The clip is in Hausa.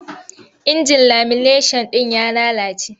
Injin lamineshan ɗin ya lalace.